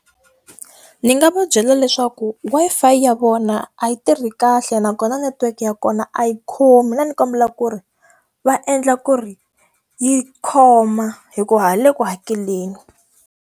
Ndzi nga va byela leswaku Wi-Fi ya vona a yi tirhi kahle nakona network ya kona a yi khomi. Ndzi kombela ku ri va endla ku ri yi khoma hikuva hi le ku hakeleni.